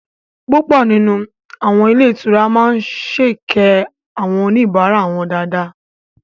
Púpọ̀ nínú àwọn ilé ìtura máa sèkẹ́ àwọn oníbàárà wọn dáadáa